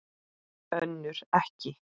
Önnur ekki.